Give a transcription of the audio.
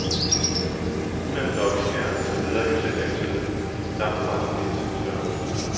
Ulandslobbyen er, som lederen jo selv antydet det, langtfra nogen entydig størrelse.